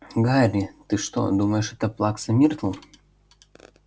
гарри ты что думаешь это плакса миртл